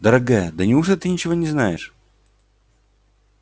дорогая да неужто ты ничего не знаешь